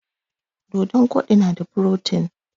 Dodon koɗi na da furotin